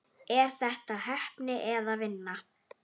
Er þetta heppni eða vinna?